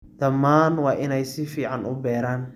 Dhammaan waa inay si fiican u beeraan.